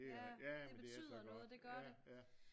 Ja ja men det er så godt